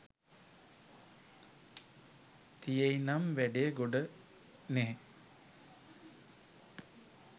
තියෙයිනම් වැඩේ ගොඩ නෙහ්?